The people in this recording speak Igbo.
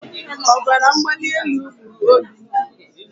Ọbaramgbalielu gburu Obinna.